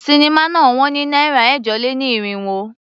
Sinimá náà ná wọn ní náírà ẹ̀jọ-lé-ní-irínwó.